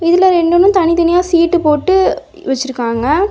இதுல ரெண்டுமு தனித்தனியா சீட்டு போட்டு வச்சிருக்காங்க.